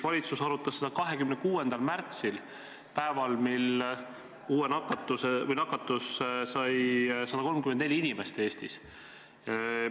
Valitsus arutas seda 26. märtsil, päeval, mil Eestis nakatus 134 inimest.